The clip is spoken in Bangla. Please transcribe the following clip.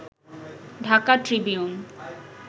ঢাকা ট্রিবিউন